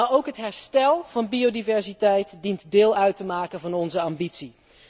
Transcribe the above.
Maar ook het herstel van biodiversiteit dient deel uit te maken van onze ambitie.